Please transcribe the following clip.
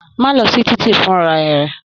Má lọ sí titi funra rẹ!